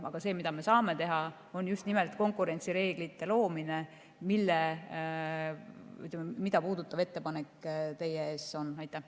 Aga see, mida me teha saame, on just nimelt konkurentsireeglite loomine, mida puudutab teie ees olev ettepanek.